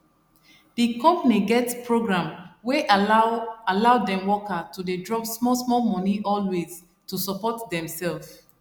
the company get program wey allow allow dem worker to dey drop small small money always to support dem sef